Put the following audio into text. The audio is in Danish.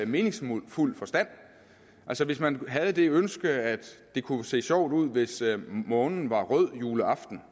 meningsfuld forstand altså hvis man havde det ønske at det kunne se sjovt ud hvis månen var rød juleaften